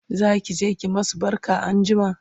zakije ki masu barka anjima?